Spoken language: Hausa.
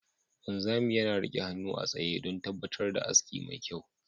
Wanzami yana rike hannu a tsaye don tabbatar da aski mai kyau.